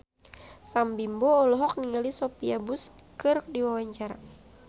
Sam Bimbo olohok ningali Sophia Bush keur diwawancara